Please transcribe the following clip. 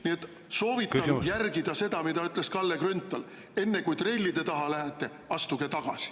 Nii et soovitan järgida seda, mida ütles Kalle Grünthal: enne kui trellide taha lähete, astuge tagasi.